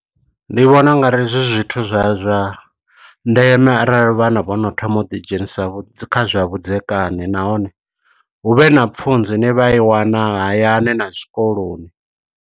Ndi vhona ungari zwi zwithu zwa zwa ndeme arali vhana vho no thoma u ḓi dzhenisa kha zwa vhudzekani. Nahone hu vhe na pfunzo ine vha i wana hayani na zwikoloni.